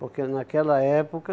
Porque naquela época,